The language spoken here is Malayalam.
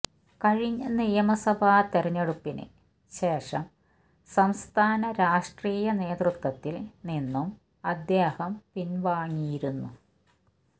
കഴിഞ്ഞ നിയമസഭ തെരഞ്ഞെടുപ്പിന് ശേഷം സംസ്ഥാന രാഷ്ട്രീയ നേതൃത്വത്തില് നിന്നും അദ്ദേഹം പിന്വാങ്ങിയിരുന്നു